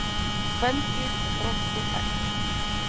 Kvendýr með þroskuð egg.